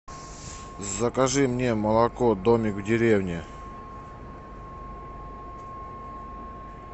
закажи мне молоко домик в деревне